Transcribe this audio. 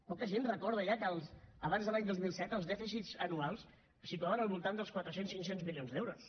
poca gent recorda ja que abans de l’any dos mil set els dèficits anuals es situaven al voltant dels quatre cents cinc cents milions d’euros